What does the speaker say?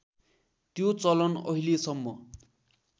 त्यो चलन अहिलेसम्म